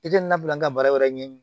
I tɛ na bila n ka baara wɛrɛ ɲɛɲini